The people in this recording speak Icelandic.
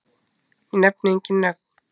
Ég nefni engin nöfn.